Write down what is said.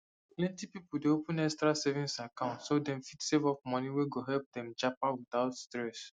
plenty people dey open extra savings account so dem fit save up money wey go help dem japa without stress